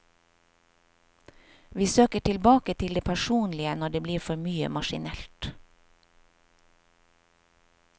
Vi søker tilbake til det personlige når det blir for mye maskinelt.